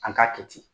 An k'a kɛ ten